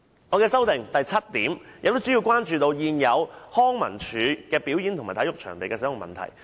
我修正案的第七項，主要關注現有康樂及文化事務署的表演及體育場地的使用問題。